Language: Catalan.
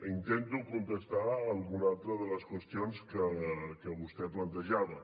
intento contestar alguna altra de les qüestions que vostè plantejava